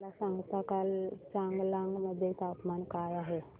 मला सांगता का चांगलांग मध्ये तापमान काय आहे